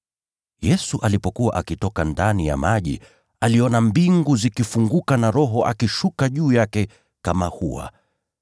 Yesu alipokuwa akitoka ndani ya maji, aliona mbingu zikifunguka na Roho akishuka juu yake kama hua.